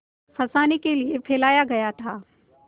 फँसाने के लिए फैलाया गया था